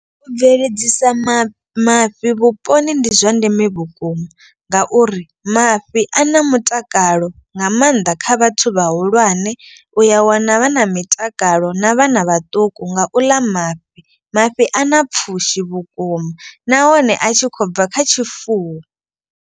U bveledzisa mafhi mafhi vhuponi ndi zwa ndeme vhukuma. Ngauri mafhi a na mutakalo nga maanḓa kha vhathu vhahulwane. U ya wana vhana mitakalo na vhana vhaṱuku nga u ḽa mafhi. Mafhi a na pfhushi vhukuma nahone a tshi khou bva kha tshifuwo.